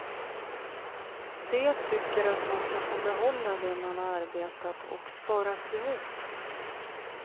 De tycker att man ska få behålla det man arbetat och sparat ihop.